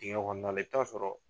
Digɛn kɔnɔna la i bɛ taa sɔrɔ